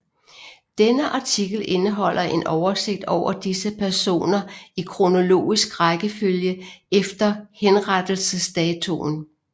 Denne artikel indeholder en oversigt over disse personer i kronologisk rækkefølge efter henrettelsesdatoen